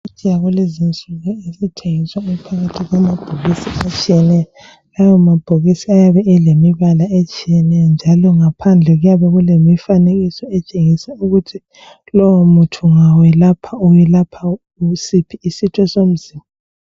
Imithi yakulezi insuku esithengiswa iphakathi kwamabhokisi atshiyeneyo lawa mabhokisi ayabe elemibala atshiyeneyo njalo ngaphandle kuyabe kulemifanekiso etshengisa ukuthi lowo muti ungawelapha welapha usiphi isitho somzimba.